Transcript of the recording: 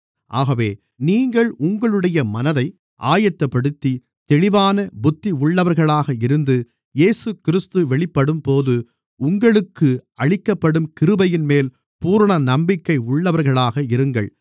ஆகவே நீங்கள் உங்களுடைய மனதை ஆயத்தப்படுத்தி தெளிவான புத்தி உள்ளவர்களாக இருந்து இயேசுகிறிஸ்து வெளிப்படும்போது உங்களுக்கு அளிக்கப்படும் கிருபையின்மேல் பூரண நம்பிக்கை உள்ளவர்களாக இருங்கள்